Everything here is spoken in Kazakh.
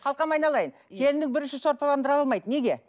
қалқам айналайын келінің бірінші сорпаландыра алмайды неге